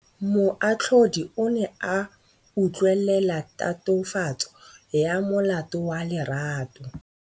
Moatlhodi o ne a utlwelela tatofatsô ya molato wa Lerato.